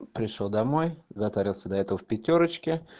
пришёл домой затарился до этого в пятёрочке